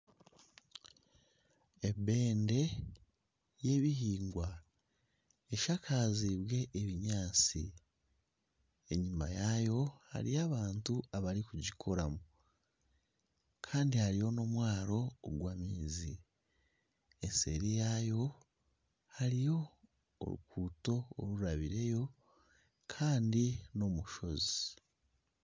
Ebende yebihingwa eshakaziibwe ebinyaatsi enyuma yaayo hariyo abantu abarikugikoramu kandi hariyo n'omwaro ogw'amaizi nseeri yaayo hariyo oruguuto orurabireyo Kandi n'omushozi